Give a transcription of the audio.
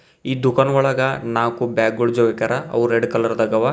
ಈ ದುಕಾನ್ ಒಳಗ ನಾಕು ಬ್ಯಾಗ್ ಗುಳ್ ಜೋಳಾಕ್ಯಾರ ಅವು ರೆಡ್ ಕಲರ್ ದಾಗವ.